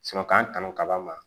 k'an kanu kaba ma